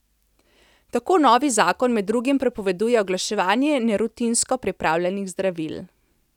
Tako novi zakon med drugim prepoveduje oglaševanje nerutinsko pripravljenih zdravil.